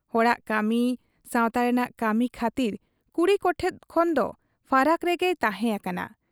ᱦᱚᱲᱟᱜ ᱠᱟᱹᱢᱤ, ᱥᱟᱶᱛᱟ ᱨᱮᱱᱟᱜ ᱠᱟᱹᱢᱤ ᱠᱷᱟᱹᱛᱤᱨ ᱠᱩᱲᱤ ᱠᱚᱴᱷᱮᱫ ᱠᱷᱚᱱ ᱫᱚ ᱯᱷᱟᱨᱟᱠ ᱨᱮᱜᱮᱭ ᱛᱟᱦᱮᱸ ᱟᱠᱟᱱᱟ ᱾